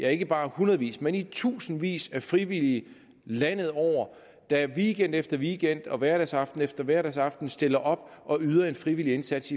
er ikke bare hundredevis men tusindvis af frivillige landet over der weekend efter weekend og hverdagsaften efter hverdagsaften stiller op og yder en frivillig indsats